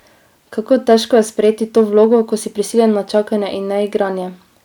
Kako težko je sprejeti to vlogo, ko si prisiljen na čakanje in neigranje?